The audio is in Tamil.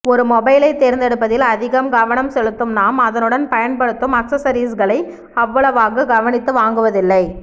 ஒரு மொபைலை தேர்ந்தெடுப்பதில் அதிகக் கவனம் செலுத்தும் நாம் அதனுடன் பயன்படுத்தும் ஆக்சஸரீஸ்களை அவ்வளவாகக் கவனித்து வாங்குவதில்லை